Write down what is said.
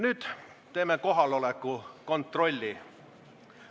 Nüüd teeme kohaloleku kontrolli.